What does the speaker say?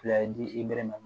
Fila di i bɛ ma